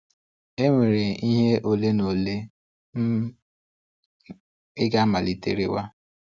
E nwere ihe ole na ole um ị ga-amalite rewe.